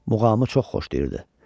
Muğamı çox xoşlayırdı.